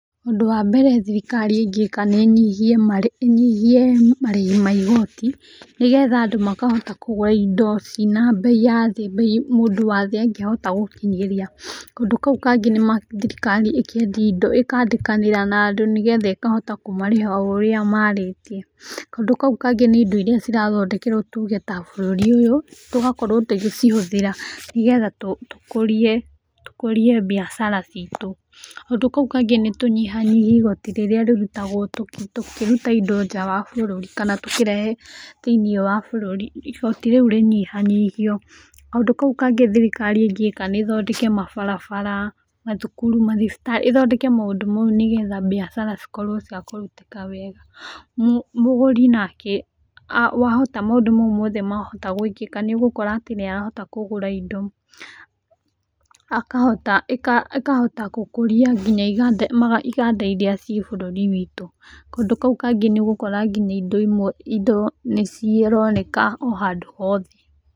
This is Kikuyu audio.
Ũndũ wa mbere thirikari ĩngĩka nĩĩnyihie marĩhi ma igoti, nĩgetha andũ makahota kũgũra indo cina mbei ya thĩĩ, mbei mũndũ wa thĩĩ angĩhota gũkĩnyĩria. Kaũndũ kau kangĩ nĩ thirikari ĩkendia ĩndo ĩkandĩkanĩra na andũ nĩgetha ĩkahota kũmarĩha o ũrĩa marĩtie. Kaũndũ kau kangĩ nĩ indo iria irathondekerwo tuge ta bũrũri ũyũ, tũgakorwo tũgĩcĩhũthĩra nĩgetha tũkũrie, tũkũrie mbiacara ciitũ. Kaũndũ kau kangĩ nĩ tũnyihanyihie igoti rĩrĩa rĩrutagwo tũkĩruta indo nja wa bũrũri kana tũkĩrehe thĩinĩ wa bũrũri igoti rĩu rĩnyihanyihio. Kaũndũ kau kangĩ thirikari ĩngĩka nĩ ĩthondeke mabarabara, mathukuru mathibitarĩ, ĩthondeke maũndũ mau nĩgetha mbiacara cikorwo cia kũrutĩka wega. Mũgũri nake wahota maũndũ mau mothe mahota gwĩkĩka nĩũgũkora atĩ nĩarahota kũgũra indo. Akahota gũkũria nginya iganda iria ciĩ bũrũri-inĩ witũ. Kaũndũ kau kangĩ nĩũgũkora ngĩnya indo imwe indo nĩcironeka o handũ hothe.